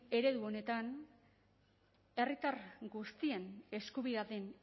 eredu honetan herritar guztien eskubidea den